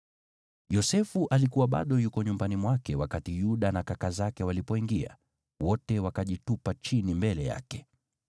Yosefu alikuwa bado yuko nyumbani mwake wakati Yuda na kaka zake walipoingia, wote wakajitupa chini mbele yake.